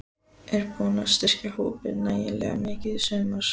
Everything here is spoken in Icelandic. Er búið að styrkja hópinn nægilega mikið í sumar?